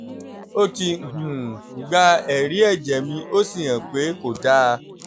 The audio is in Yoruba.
ó ti um gba ẹ̀rí ẹ̀jẹ̀ mi ó sì hàn pé kò dáa